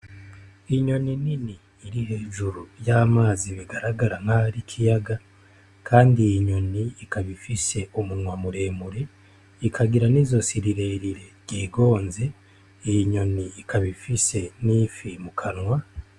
Inyoni nini iri hejuru y'amazi bigaragara nk'aho ari ikiyaga. Kandi iyi nyoni ikaba ifise umunwa muremure, ikagira n'izosi rirerire ryigonze. Iyi nyoni ikaba ifise n'ifi mu kanwa.